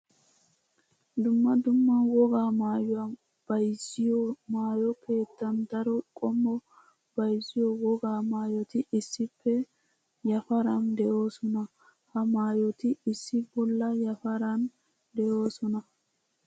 Dumma dumma wogaa maayuwa bayzziyo maayo keettan daro qommo bayzziyo wogaa maayoti issippe yafaran de'oosona. Ha maayottia issi bolla yafaran de'oosona.